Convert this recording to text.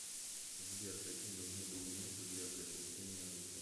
сбер какие нужны документы для приобретения оружия